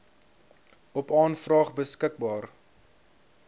op aanvraag beskikbaar